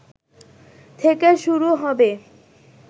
থেকে শুরু হবে